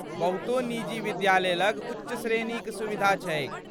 बहुतो निजी विद्यालय लग उच्च श्रेणीक सुविधा छैक।